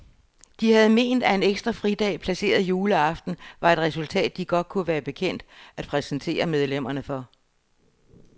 De have ment, at en ekstra fridag placeret juleaften var et resultat, de godt kunne være bekendt at præsentere medlemmerne for.